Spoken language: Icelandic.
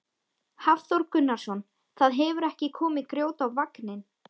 Hafþór Gunnarsson: Það hefur ekki komið grjót á vagninn?